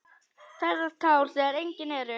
Þerrar tár þegar engin eru.